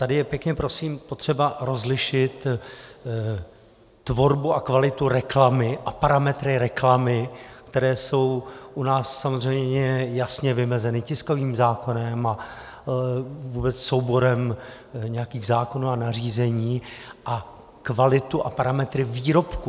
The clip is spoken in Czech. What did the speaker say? Tady je, pěkně prosím, potřeba rozlišit tvorbu a kvalitu reklamy a parametry reklamy, které jsou u nás samozřejmě jasně vymezeny tiskovým zákonem a vůbec souborem nějakých zákonů a nařízení, a kvalitu a parametry výrobku.